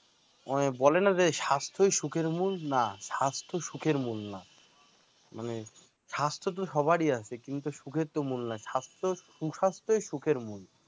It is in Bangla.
ওই বলেন না যে স্বাস্থ্যই সুখের মূল, না স্বাস্থ্য সুখের মূল না মানে স্বাস্থ্য তো সবারই আছে কিন্তু সুখের মূল না সুস্বাস্থ্যই সুখের মূল